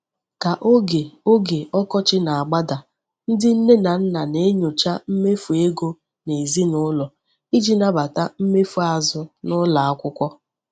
Ka oge oge ọkọchị na-agbada, ndị nne na nna na-enyocha mmefu ego ezinụlọ iji nabata mmefu azụ n'ụlọ akwụkwọ.